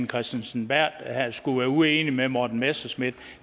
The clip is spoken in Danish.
kristensen berth skulle være uenig med herre morten messerschmidt